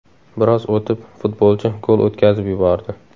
Biroz o‘tib, futbolchi gol o‘tkazib yubordi.